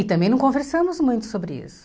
E também não conversamos muito sobre isso.